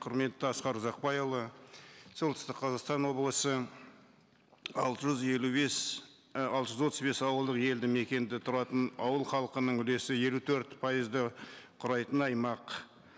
құрметті асқар ұзақбайұлы солтүстік қазақстан облысы алты жүз елу бес і алты жүз отыз бес ауылдық елді мекенде тұратын ауыл халқының үлесі елу төрт пайызды қүрайтын аймақ